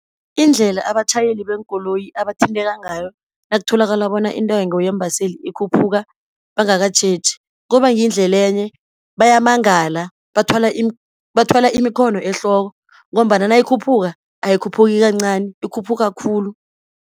Indlela abatjhayeli beenkoloyi abathintekako ngayo, nakutholakala bona intengo yeembaseli ikhuphuka bangakatjheji. Kubangendlele enye bayamangala bathwala imikhono ehloko, ngombana nayikhuphuka ayikhuphuki kancani, ikhuphuka khulu.